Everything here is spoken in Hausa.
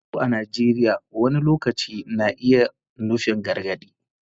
Yatsu a Najeriya wani lokaci na iya nufin gargadi.